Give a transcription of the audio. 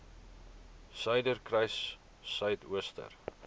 suiderkruissuidooster